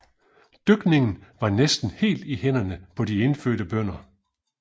Dyrkningen var næsten helt i hænderne på de indfødte bønder